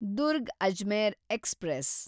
Durg Ajmer express